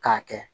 K'a kɛ